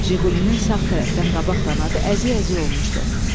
JİQULİ-nin sağ tərəfdən qabaq qanadı əzik-əzik olmuşdu.